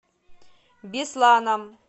бесланом